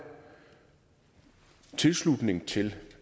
tilslutning til